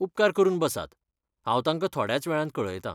उपकार करून बसात, आनी हांव ताका थोड्याच वेळान कळयतां.